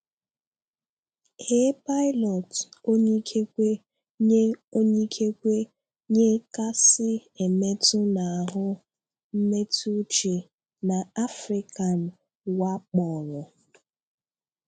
A pilot onye ikekwe nye onye ikekwe nye kasị emètụ̀ n’ahụ́ mmetụ̀ uche na Áfríkan wàkpọ́rọ̀.